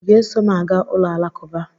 I ga-eso m aga ụlọ Alakụba?